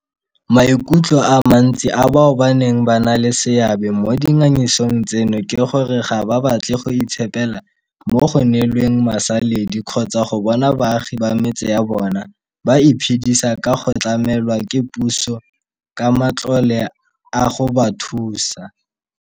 Maikutlo a mantsi a bao baneng ba na le seabe mo dingangisanong tseno ke gore ga ba batle go itshepela mo go neelweng masaledi kgotsa go bona baagi ba metse ya bona ba iphedisa ka go tlamelwa ke puso ka matlole a go ba thusa.